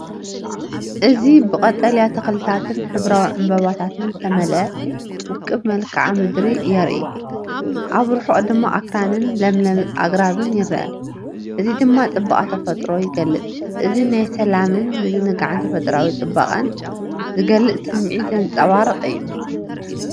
እዚ ብቀጠልያ ተኽልታትን ሕብራዊ ዕምባባታትን ዝተመልአ ውቁብ መልክዓ ምድሪ የርኢ። ኣብ ርሑቕ ድማ ኣኽራንን ለምለም ኣግራብን ይርአ፣ እዚ ድማ ጽባቐ ተፈጥሮ ይገልጽ። እዚ ናይ ሰላምን ምዝንጋዕን ተፈጥሮኣዊ ጽባቐን ዝገልጽ ስምዒት ዘንጸባርቕ እዩ።